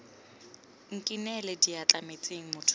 nkinele diatla metsing motho yo